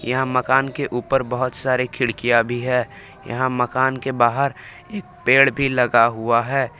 यहां मकान के ऊपर बहुत सारे खिड़कियां भी है यहां मकान के बाहर एक पेड़ भी लगा हुआ है।